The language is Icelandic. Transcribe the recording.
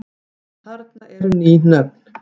En þarna eru ný nöfn.